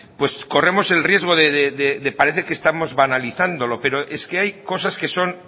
corremos el riesgo de parecer que estamos banalizándolo pero es que hay cosas que son